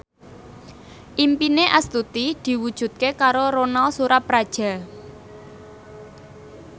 impine Astuti diwujudke karo Ronal Surapradja